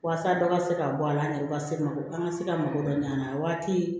Walasa dɔ ka se ka bɔ a la n'a ye ka se mako an ka se ka mago ɲan an na waati